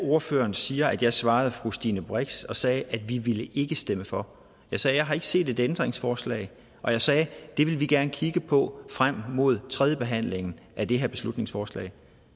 at ordføreren siger at da jeg svarede fru stine brix sagde jeg at vi ikke ville stemme for jeg sagde jeg har ikke set et ændringsforslag og jeg sagde det vil vi gerne kigge på frem mod tredjebehandlingen af det her beslutningsforslag